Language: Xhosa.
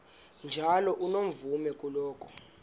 njalo unomvume kuloko